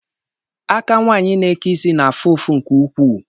Aka nwaanyị na-eke isi na-afu ụfụ nke ukwuu.